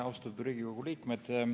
Austatud Riigikogu liikmed!